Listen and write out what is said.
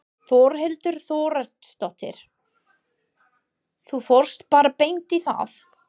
Þórhildur Þorkelsdóttir: Þú fórst bara beint í það?